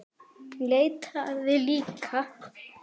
Hún leitaði líka.